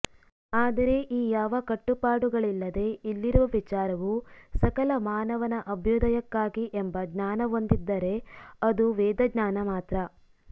ಆದರೆ ಈ ಯಾವ ಕಟ್ಟುಪಾಡುಗಳಿಲ್ಲದೆ ಇಲ್ಲಿರುವ ವಿಚಾರವು ಸಕಲ ಮಾನವನ ಅಭ್ಯುದಯಕ್ಕಾಗಿ ಎಂಬ ಜ್ಞಾನಒಂದಿದ್ದರೆ ಅದು ವೇದಜ್ಞಾನ ಮಾತ್ರ